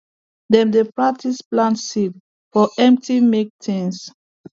dem dey practise plant seed for empty milk tins